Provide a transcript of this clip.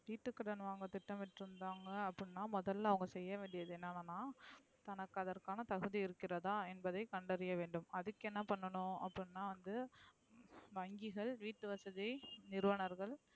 வீட்டு கடன்வாங்க திட்டம் மிட்ட்ரந்தாங்க அப்டினா முதல்ல அவுங்க செய்ய வேண்டியது என்ன நா நா தனக்கு அதற்கான தகுதி இருகிறத என்பதை கண்டறிய வேண்டும். அதுக்கு என்ன பண்ணும் அப்டினா வந்து வங்கிகள் வீட்டு வசதி நிறுவனர்கள்.